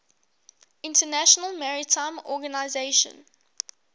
international maritime organization